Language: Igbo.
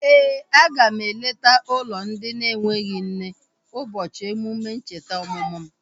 Éè, a ga m eleta ụlọ ndị na-enweghị nne ụbọchị emume ncheta ọmụmụ m